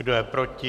Kdo je proti?